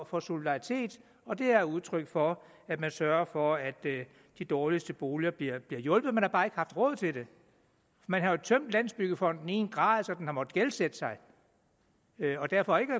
for solidaritet og det er udtryk for at man sørger for at de dårligste boliger bliver hjulpet man har bare ikke haft råd til det man har jo tømt landsbyggefonden i en grad så den har måttet gældsætte sig og derfor